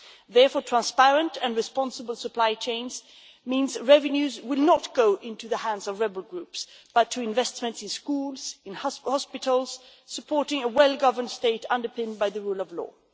Therefore, transparent and responsible supply chains means revenues would not go into the hands of rebel groups but to investment in schools, in hospitals, supporting a well governed state underpinned by the rule of law.